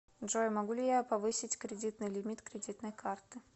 джой могу ли я повысить кредитный лимит кредитной карты